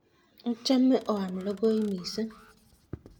ochame oame lokoimising